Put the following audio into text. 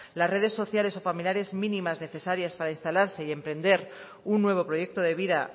las redes sociales o familiares mínimas necesarias para instalarse y emprender un nuevo proyecto de vida